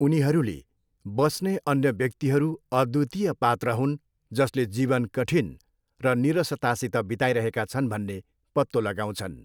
उनीहरूले बस्ने अन्य व्यक्तिहरू अद्वितीय पात्र हुन् जसले जीवन कठिन र नीरसतासित बिताइरहेका छन् भन्ने पत्तो लगाउँछन्।